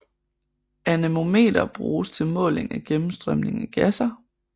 Anemometer bruges til måling af gennemstrømning af gasser